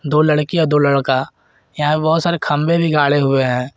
दो लड़कियां दो लड़का यहां पे बहोत सारे खंबे भी गाड़े हुए हैं।